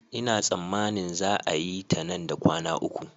Ina tsammanin za a yi ta nan da kwana uku